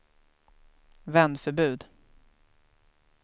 vändförbud